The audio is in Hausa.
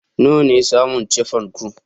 Nawa ne saman chiffon ku